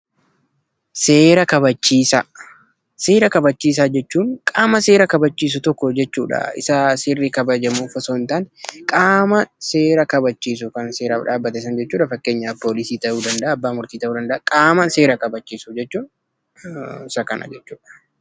Seera kabachiisaa. seera kabachiisaa jechuun qaama seera kabachiisu tokko jechuudha. Isa seerri kabajamuuf osoo hin taane, qaama seera kabachiisu kan seeraaf dhaabbate sana jechuudha. Fakkeenyaaf poolisii ta'uu danda'a, abbaa murtii ta'uu danda'a, qaama seera kabachiisu jechuun isa kab jechuudha.